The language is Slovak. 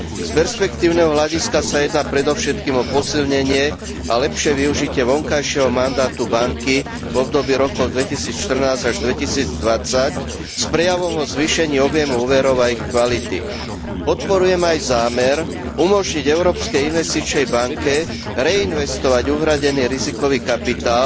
Z perspektívneho hľadiska sa jedná predovšetkým o posilnenie a lepšie využitie vonkajšieho mandátu banky v období rokov 2014 až 2020 z prejavov o zvýšení objemu úverov a ich kvality. Podporujem aj zámer umožniť Európskej investičnej banke reinvestovať uhradený rizikový kapitál,